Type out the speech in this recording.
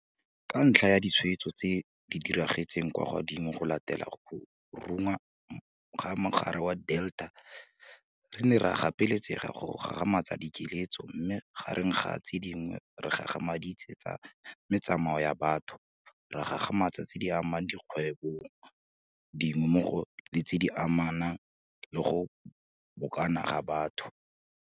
Ka ntlha ya ditshwaetso tse di ragetseng kwa godimo go latela go runya ga mogare wa Delta re ne ra gapeletsega go gagamatsa dikiletso mme gareng ga tse dingwe re gagamaditse tsa metsamao ya batho, ra gagamatsa tse di amang dikgwebong dingwe mmogo le tse di amanang le go bokana ga batho.